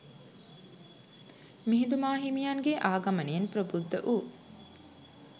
මිහිඳු මාහිමියන්ගේ ආගමනයෙන් ප්‍රබුද්ධ වූ